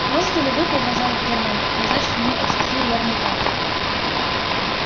можете ли вы продолжал германн назначить мне эти три верные карты